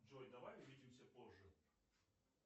джой давай увидимся позже